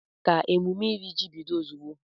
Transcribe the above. Ka emume iri ji bido ozugbo!